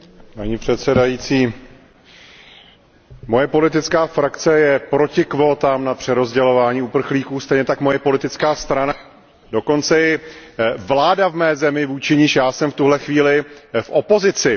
Paní předsedající, moje politická frakce je proti kvótám na přerozdělování uprchlíků, stejně tak moje politická strana, dokonce i vláda v mé zemi, vůči níž já jsem v tuto chvíli v opozici.